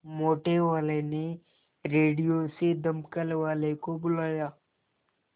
मोटेवाले ने रेडियो से दमकल वालों को बुलाया